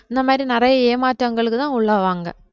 இந்த மாதிரி நிறைய ஏமாற்றங்களுக்குதான் உள்ளாவாங்க